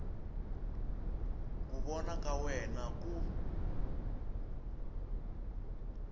ku vona ka wena ku